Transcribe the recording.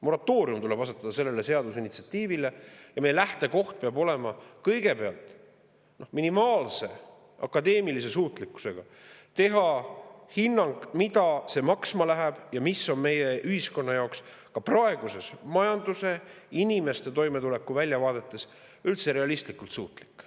Moratoorium tuleb asetada sellele seadusinitsiatiivile ning meie lähtekoht peab olema see, et kõigepealt anda minimaalse akadeemilise suutlikkusega hinnang, mida see maksma läheb ja milleks me oleme meie ühiskonnas, praeguses majanduse ja inimeste toimetuleku väljavaadetes üldse realistlikult suutlikud.